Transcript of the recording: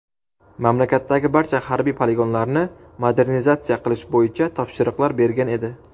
mamlakatdagi barcha harbiy poligonlarni modernizatsiya qilish bo‘yicha topshiriqlar bergan edi.